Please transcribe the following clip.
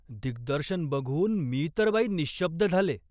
दिग्दर्शन बघून मी तर बाई निःशब्द झाले.